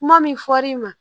Kuma min fɔl'i ma